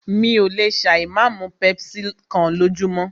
Mí ò lè ṣà ì má mú pepsi kán lójúmọ́.